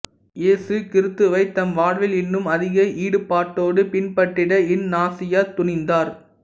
இயேசு கிறித்துவைத் தம் வாழ்வில் இன்னும் அதிக ஈடுபாட்டோடு பின்பற்றிட இஞ்ஞாசியார் துணிந்தார்